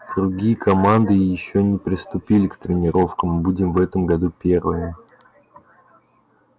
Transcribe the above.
другие команды ещё и не приступали к тренировкам мы будем в этом году первыми